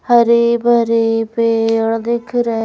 हरे भरी पेड़ दिख रहे--